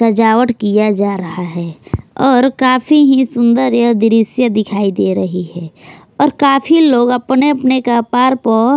सजावट किया जा रहा है और काफी ही सुंदर यह दृश्य दिखाई दे रही है और काफी लोग अपने अपने कपार पर--